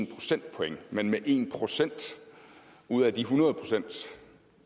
procentpoint men en procent ud af de hundrede procent